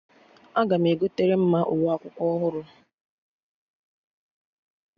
Aga m egotere Mma uwe akwụkwọ ọhụrụ